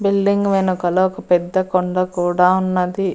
Building వెనకాల ఒక పెద్ద కొండ కూడా ఉన్నది.